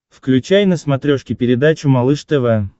включай на смотрешке передачу малыш тв